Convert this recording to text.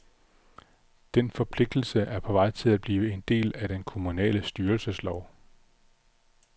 Den forpligtelse er på vej til at blive en del af den kommunale styrelseslov.